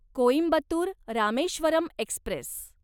Coimbatore Rameswaram Express